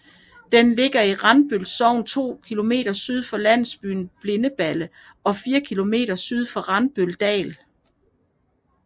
Den ligger i Randbøl Sogn 2 km syd for landsbyen Bindeballe og 4 km syd for Randbøldal